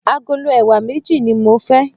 Agolo ẹ̀wà méjì ní mo fẹ́.